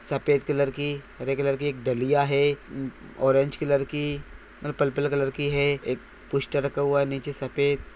एक bus stand है जिसमे एक बड़ी बस खड़ी हुई दी खड़ी हुई है। पूरे काले --